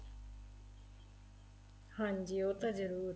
ਹਾਂਜੀ ਉਹ ਤਾਂ ਜਰੂਰ